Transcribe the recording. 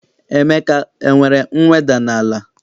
Emeka enwere mweda n'ala?